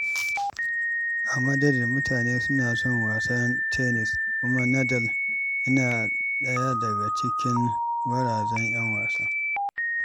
A Madrid, mutane suna son wasan tennis, kuma Nadal yana daya daga cikin gwarazan ‘yan wasa.